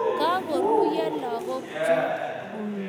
Kagoruryo logoek chun